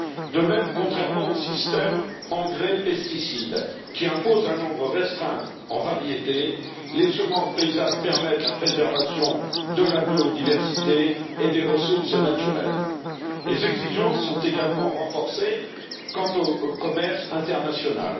De même, contrairement au système engrais pesticides qui impose un nombre restreint de variétés, les semences paysannes permettent la préservation de la biodiversité et des ressources naturelles. Les exigences sont également renforcées en matière de commerce international.